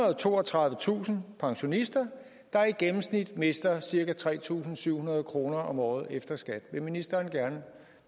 og toogtredivetusind pensionister der i gennemsnit mister cirka tre tusind syv hundrede kroner om året efter skat vil ministeren